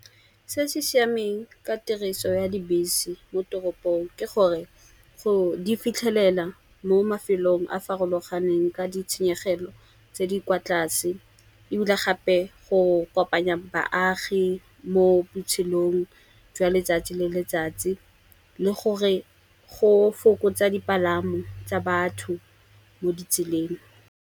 Se se siameng ka tiriso ya dibese mo toropong, ke gore go di fitlhelela mo mafelong a farologaneng ka di tshenyegelo tse di kwa tlase. Ebile gape go kopanya baagi mo botshelong jwa letsatsi le letsatsi, le gore go fokotsa dipalamo tsa batho mo ditseleng.